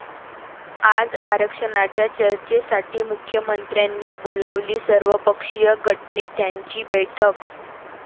आज आरक्षणाच्या चर्चेसाठी मुख्यमंत्र्यांनी बोलावली सर्वपक्षीय गटनेत्यांची बैठक